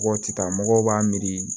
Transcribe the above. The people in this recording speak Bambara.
Mɔgɔw ti taa mɔgɔw b'a miiri